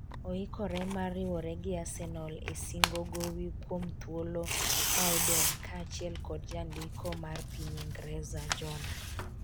oikore mar riwore gi Arsenal e singo gowi kuom thuolo ma odong' kaachiel kod jandiko mar piny Ingreza Jona